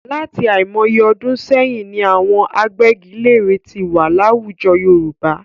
Láti àìmọye ọdún sẹ́yìn ni àwọn agbẹ́giléèrè tí wà láwùjọ Yorùbá.